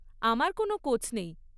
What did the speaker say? আমার কোনও কোচ নেই।